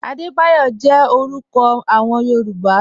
Adebayo jẹ̀ orúkọ awọn Yorùbá.